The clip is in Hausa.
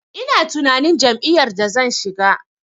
Ina tunanin jam'iyyar da zan shiga.